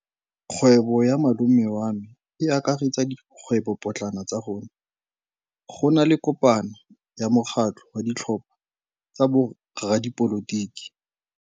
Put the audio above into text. Kgwêbô ya malome wa me e akaretsa dikgwêbôpotlana tsa rona. Go na le kopanô ya mokgatlhô wa ditlhopha tsa boradipolotiki.